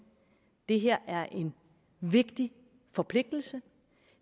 det her er en vigtig forpligtelse